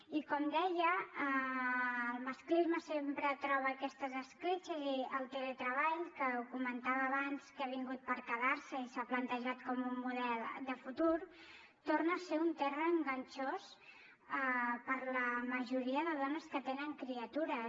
i com deia el masclisme sempre troba aquestes escletxes i el teletreball que ho comentava abans que ha vingut per quedar se i s’ha plantejat com un model de futur torna a ser un terra enganxós per a la majoria de dones que tenen criatures